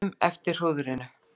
Bíðum eftir hrúðrinu